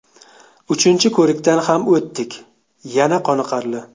Uchinchi ko‘rikdan ham o‘tdik yana qoniqarli.